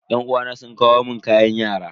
Yan uwana sun kawo mun kayan yara.